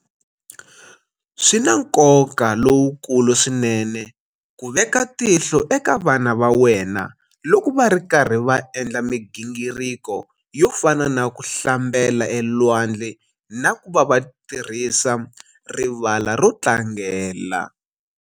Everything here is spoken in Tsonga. Swi na nkoka lowukulu swinene ku veka tihlo eka vana va wena loko va ri karhi va endla migingiriko yo fana na ku hlambela elwandle na ku va va tirhisa rivala ro tlangela.